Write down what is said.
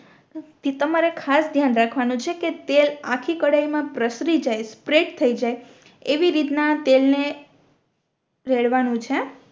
તમારે ખાસ ધ્યાન રાખવાનું છે કે તેલ આખી કઢાઈ મા પ્રસરી જાય સ્પ્રેડ થઈ જાય એવી રીતના તેલ ને રેડવાનું છે